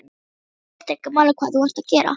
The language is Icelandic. Það skiptir ekki máli hvað þú ert að gera.